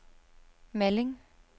Malling